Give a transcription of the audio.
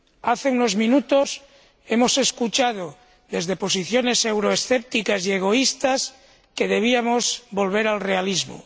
Hace unos minutos hemos escuchado, desde posiciones euroescépticas y egoístas, que debíamos volver al realismo.